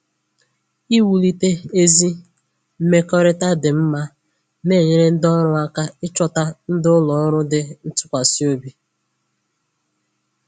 Iwulite ezi mmekọrịta dị mma na-enyere ndị ọrụ aka ịchọta ndị ụlọ ọrụ dị ntụkwasịobi